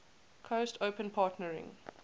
coast open partnering